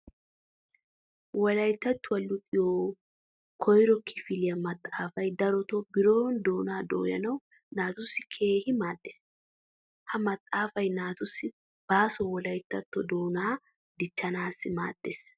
Wolayttattuwa luxiyo koyrro kifiliyaa maxaafaay darotto biron doonaa dooyanawu naatussi keehin maaddees. Ha maxaafay naatussi baaso wolayttatto doonaa dichchanasi maaddees.